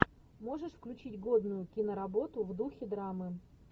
можешь включить годную киноработу в духе драмы